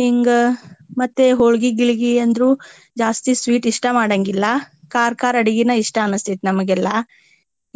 ಹಿಂಗ ಮತ್ತೆ ಹೊಳ್ಗಿ ಗಿಳ್ಗಿ ಅಂದ್ರು ಜಾಸ್ತಿ sweet ಇಷ್ಟಾ ಮಾಡಾಂಗಿಲ್ಲಾ ಖಾರ ಖಾರ ಅಡ್ಗಿನ ಇಷ್ಟಾ ಅನ್ಸತೇತಿ ನಮ್ಗ ಎಲ್ಲಾ.